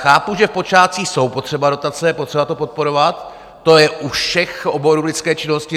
Chápu, že v počátcích jsou potřeba dotace, je potřeba to podporovat, to je u všech oborů lidské činnosti.